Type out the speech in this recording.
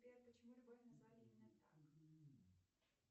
сбер почему любовь назвали именно так